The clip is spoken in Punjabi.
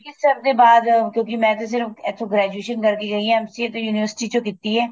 ਬਲਬੀਰ sir ਦੇ ਬਾਅਦ ਕਿਉਂਕਿ ਮੈਂ ਤੇ ਸਿਰਫ ਇੱਥੋ graduation ਕਰ ਕੇ ਗਈ ਆ MCA ਤਾਂ university ਚੋ ਕੀਤੀ ਏ